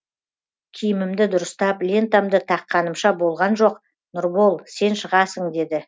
киімімді дұрыстап лентамды таққанымша болған жоқ нұрбол сен шығасың деді